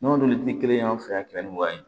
N'olu tɛ kelen ye an fɛ yan kɛmɛ ni wa